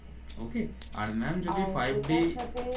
ওকে আর ম্যাম যদি five d